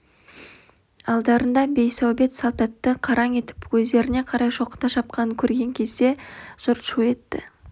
алдарында бейсаубет салтатты қараң етіп өздеріне қарай шоқыта шапқанын көрген кезде жұрт шу етті